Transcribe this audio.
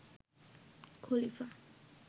খলিফা